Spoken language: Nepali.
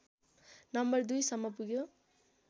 नम्बर २ सम्म पुग्यो